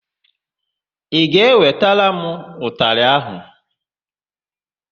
Ị ga-ewetara m ụtalị áhụ̀?